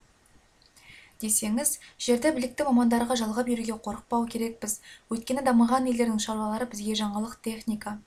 десеңіз жерді білікті мамандарға жалға беруге қорықпау керекпіз өйткені дамыған елдердің шаруалары бізге жаңалық техника